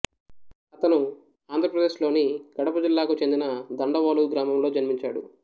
అతను ఆంధ్రప్రదేశ్ లోని కడప జిల్లా కు చెందిన దండవోలు గ్రామంలో జన్మించాడు